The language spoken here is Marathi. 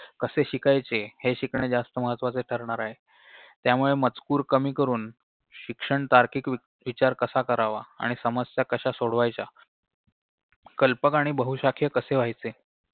कसे शिकायचे हे शिकणे जास्त महत्वाचे ठरणार आहे त्यामुळे मजकूर कमी करून शिक्षण तार्किक विचार कसा करावा आणि समस्या कशा सोडवायच्या कल्पक आणि बहुशाखीय कसे व्हायचे